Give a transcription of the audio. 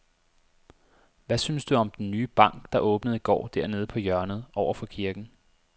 Hvad synes du om den nye bank, der åbnede i går dernede på hjørnet over for kirken?